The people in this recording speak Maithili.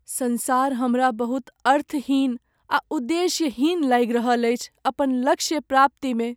संसार हमरा बहुत अर्थहीन आ उद्देश्यहीन लागि रहल अछि अपन लक्ष्य प्राप्ति में ।